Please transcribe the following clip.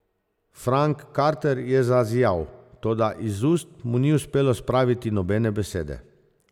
Frank Carter je zazijal, toda iz ust mu ni uspelo spraviti nobene besede.